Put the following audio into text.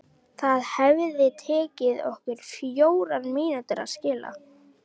Það hefði tekið okkur fjórar mínútur að skilja.